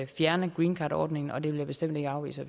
fjerne greencardordningen og det vil jeg bestemt ikke afvise